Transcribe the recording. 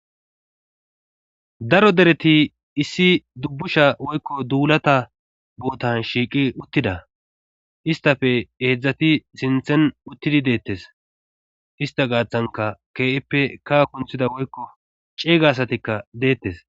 daro dereti issi dubbusha woykko duulata bootan shiiqi uttida istafe eedzdzati sinthen uttidi deettes ista gaaththanka kippe ka kunthida woykko ceeyga asatikka deettes